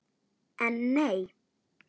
En nei!